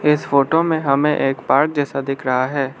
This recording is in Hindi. इस फोटो में हमें एक पार्क जैसा दिख रहा है।